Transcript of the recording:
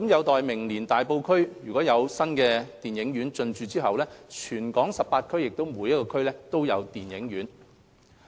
待明年大埔區亦有新電影院進駐後，全港18區每區均設有電影院。